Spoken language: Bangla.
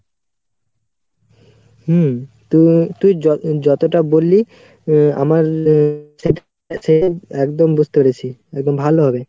হুম, তু~ তুই যত যতটা বললি উম আমার একদম বুঝতে পেরেছি ভালোভাবে।